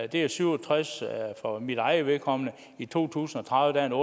det er syv og tres år for mit eget vedkommende i to tusind og tredive er